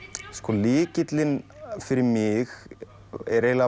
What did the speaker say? lykillinn fyrir mig er eiginlega